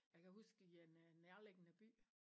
Jeg kan huske i en øh nærliggende by